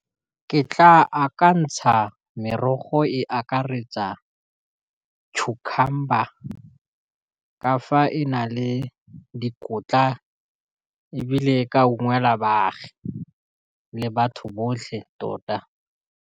Ke tla akantsha merogo e akaretsa cucumber ka fa e na le dikotla e bile ka ungwelwa baagi le batho botlhe tota.